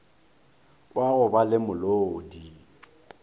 wa go ba le molodi